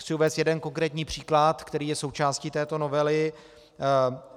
Chci uvést jeden konkrétní příklad, který je součástí této novely.